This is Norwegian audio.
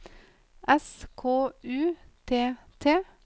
S K U T T